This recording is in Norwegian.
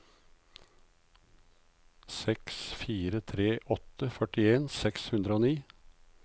seks fire tre åtte førtien seks hundre og ni